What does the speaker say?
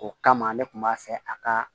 O kama ne kun b'a fɛ a ka